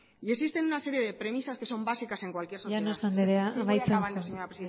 y existen una serie de premisas que son básicas en cualquier sociedad llanos andrea amaitzen joan sí voy acabando señora